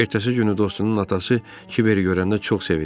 Ertəsi günü dostunun atası Kibveri görəndə çox sevindi.